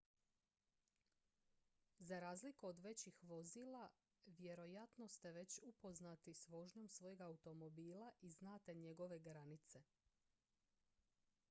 za razliku od većih vozila vjerojatno ste već upoznati s vožnjom svojeg automobila i znate njegove granice